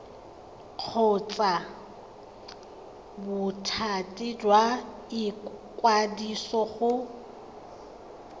kgotsa bothati jwa ikwadiso go